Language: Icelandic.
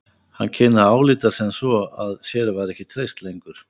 Hann kynni að álíta sem svo að sér væri ekki treyst lengur.